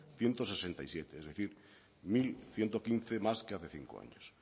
ciento sesenta y seis es decir mil ciento quince más que hace cinco años